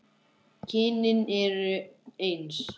Kynin eru eins.